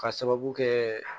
K'a sababu kɛ